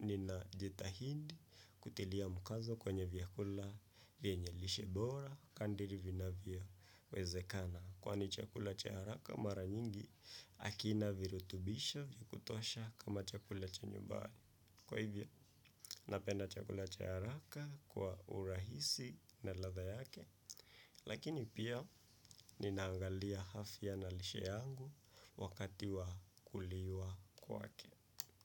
nina jitahindi kutilia mkazo kwenye vyakula vyenye lishe bora, kandiri vinavyo wezekana. Kwani chakula cha haraka mara nyingi akina virutubisho vya kutosha kama chakula cha nyubani. Kwa hivyo, napenda chakula cha haraka kwa urahisi na latha yake lakini pia ninaangalia afya na lishe yangu wakati wa kuliwa kwake.